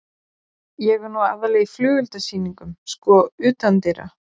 Ég er nú aðallega í flugeldasýningum, sko, utandyra.